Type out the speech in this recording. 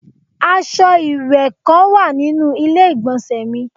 Aṣọ iwẹwẹ kan wa ninu ile-igbọnsẹ mi